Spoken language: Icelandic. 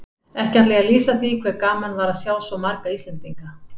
Ekki ætla ég að lýsa því hve gaman var að sjá svo marga Íslendinga.